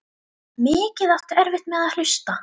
Mikið áttu erfitt með að hlusta.